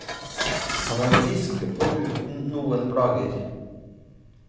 Han er frisk og uten noen plager.